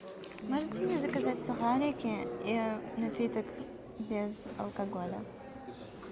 можете мне заказать сухарики и напиток без алкоголя